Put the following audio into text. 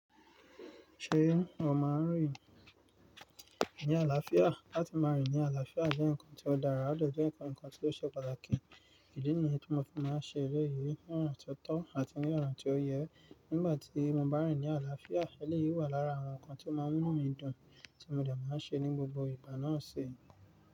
Ṣé o máa n rìn ní àlàáfíà? Látí máa rìn ní àlàáfíà jẹ́ nǹkan tí ó dára, ó de je nǹkan tí ó ṣe pàtàkì. Idi níyen tí mo fi máa ṣe eléyìí ní ọ̀ràn tó tọ́ àti ní ọ̀ràn tí ó yẹ. Nígbà tí mo bá rìn ní àlàáfíà, eléyìí wà lára àwọn nǹkan tí ó máa ń mú mi dùn tí mo de máa ṣe ní gbogbo ìgbà náà ṣe.